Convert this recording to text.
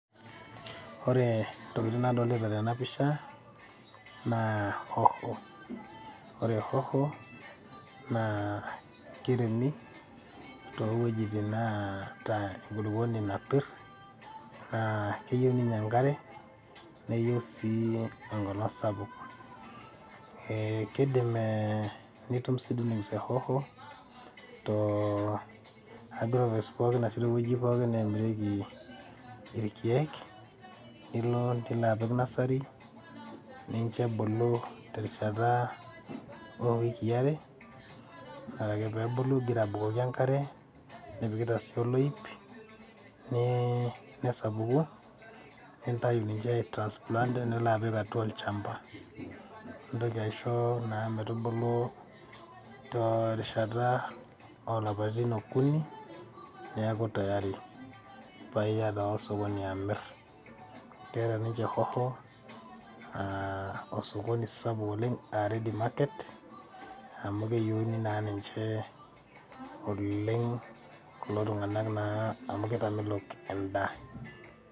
Ore ntokitin nadolita tena pisha naa hoho. Ore hoho naa keiremi too wuejitin naata enkulukuoni napirr. Naa keyieu ninye enkare neyieu sii enkolong sapuk, keidim ee nitum seedlings e hoho too , toowuejitin pookin naamirieki ilkiek. Nilo, nilo apik nursery ninche ebulu terishata oo wiki are. Ore ake pee ebulu nipikita sii oloip nii nesapuku nintayu ninche ai transplant nilo apik olchamba. Nintoki aisho metubulu terishata oo lapaitin okuni paa niaku tayari paa iya osokoni amirr. Keeta ninche hoho aaa osokoni sapuk oleng ready market amu keyieuni naa ninche oleng kulo tung`anak naa amu keitamelok en`daa.